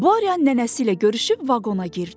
Borya nənəsi ilə görüşüb vaqona girdi.